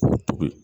K'o tobi